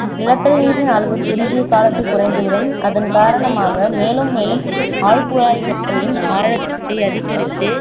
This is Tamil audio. நிலத்தடிநீரின் அளவு குறுகிய காலத்தில குறைந்துவிடும் அதன் காரணமாக மேலும் மேலும் ஆழ்குழாய்களின் ஆழத்தை அதிகரித்து